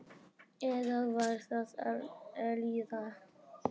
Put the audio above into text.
Eða var það Elísa?